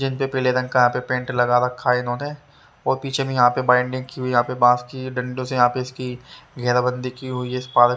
जिनपे पीले रंग का यहां पेंट लगा रखा है इन्होंने और पीछे में यहां पे बॉन्डिंग की हुई यहां पे बांस की डंडों से यहां पे इसकी घेरा बंदी की हुई है इस पार --